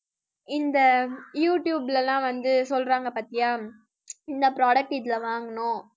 இந்த யூடுயூப்ல எல்லாம் வந்து சொல்றாங்க பார்த்தியா இந்த product இதுல வாங்கணும்.